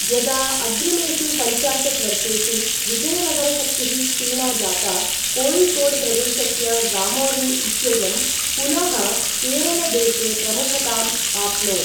यदा अग्रिमेषु पञ्चाशत् वर्षेषु विजयनगर शक्तिः क्षीणा जाता, कोय़िकोड् प्रदेशस्य ज़ामोरिन् इत्ययं पुनः केरलदेशे प्रमुखताम् आप्नोत्।